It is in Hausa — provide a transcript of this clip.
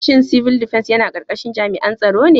Shin Civil Defence yana karkashin jami'an tsaro ne?